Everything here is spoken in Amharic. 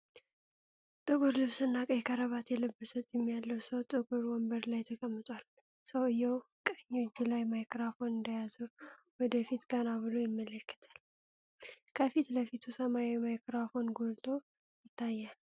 ጥቁር ልብስ እና ቀይ ከረባት የለበሰ ጢም ያለው ሰው ጥቁር ወንበር ላይ ተቀምጧል። ሰውየው ቀኝ እጁ ላይ ማይክራፎን እንደያዘ ወደ ፊት ቀና ብሎ ይመለከታል። ከፊት ለፊቱ ሰማያዊ ማይክሮፎን ጎልቶ ይታያል።